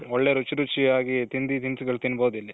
ಒಳ್ಳೆ ರುಚಿ ರುಚಿಯಾಗಿ ತಿಂಡಿ ತಿನಿಸುಗಳು ತಿನ್ಬೋದು ಇಲ್ಲಿ.